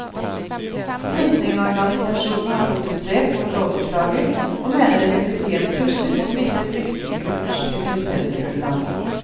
Flyktningeorganisasjonene har protestert mot lovforslaget, og mener det vil bety en trussel mot visse flyktningegruppers eksistensgrunnlag.